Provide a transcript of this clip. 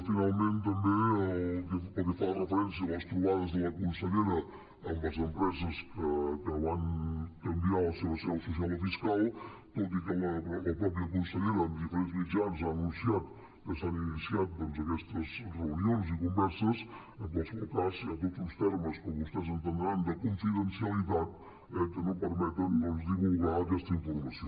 finalment també pel que fa referència a les trobades de la consellera amb les empreses que van canviar la seva seu social o fiscal tot i que la mateixa consellera en diferents mitjans ha anunciat que s’han iniciat doncs aquestes reunions i converses en qualsevol cas hi ha tots uns termes com vostès entendran de confidencialitat eh que no permeten divulgar aquesta informació